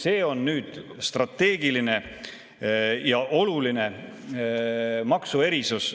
See on nüüd strateegiline ja oluline maksuerisus.